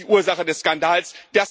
Das ist die Ursache des Skandals.